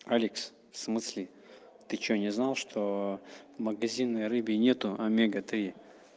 александр в смысле ты что не знал что магазинной рыбе нету омега-три